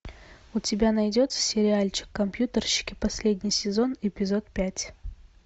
у тебя найдется сериальчик компьютерщики последний сезон эпизод пять